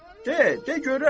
De, de görək!